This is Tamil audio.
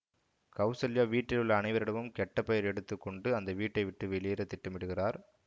கௌசல்யா வீட்டிலுள்ள அனைவரிடமும் கெட்ட பெயர் எடுத்து கொண்டு அந்த வீட்டை விட்டு வெளியேற திட்டமிடுகிறார்